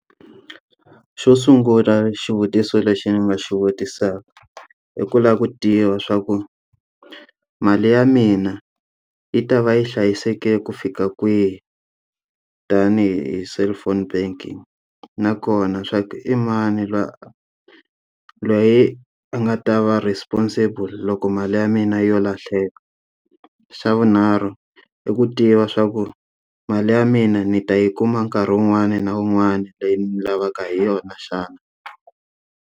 Xo sungula xivutiso lexi ni nga xi vutisaka, i ku lava ku tiva swa ku mali ya mina yi ta va yi hlayiseke ku fika kwihi tanihi cellphone banking? Nakona swa ku i mani loyi a loyi a nga ta va responsible loko mali ya mina yo lahleka? Xa vunharhu i ku tiva swa ku mali ya mina ni ta yi kuma nkarhi wun'wani na wun'wani leyi ni yi lavaka hi yona xana?